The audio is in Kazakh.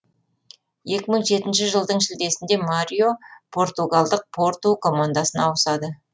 екі мың жетінші жылдың шілдесінде марио португалдық порту командасына ауысады